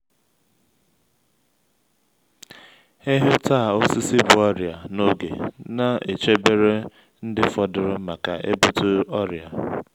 ịhụ ta osisi bu ọrịa na’oge ne chebere ndị fọdụrụ maka ebute oria